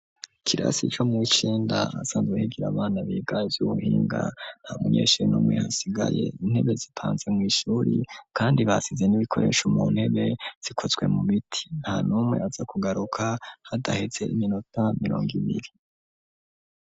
Kirasi co mw ikenda asanzuhigira abana biga vy'ubuhinga nta munyeshuri numwe hasigaye intebe zipanze mw'ishuri, kandi basize n'ibikoresha mu ntebe zikozwe mu biti nta n'umwe aza kugaruka hadaheze iminota mirongo ibiri.